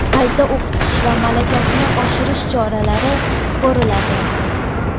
qayta o‘qitish va malakasini oshirish choralari ko‘riladi.